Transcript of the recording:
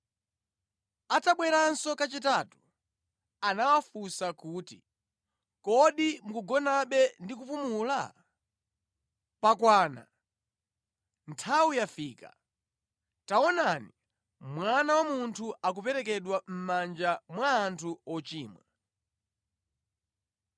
Atabweranso kachitatu, anawafunsa kuti, “Kodi mukugonabe ndi kupumula? Pakwana! Nthawi yafika. Taonani, Mwana wa Munthu akuperekedwa mʼmanja mwa anthu ochimwa.